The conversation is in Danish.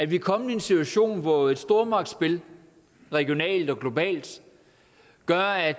vi er kommet i en situation hvor et stormagtsspil regionalt og globalt gør at